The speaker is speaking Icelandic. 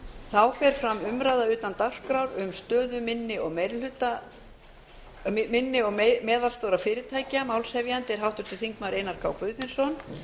þá fer fram umræða utan dagskrár um stöðu minni og meðalstórra fyrirtækja málshefjandi er háttvirtur þingmaður einar k guðfinnsson